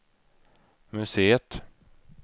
museet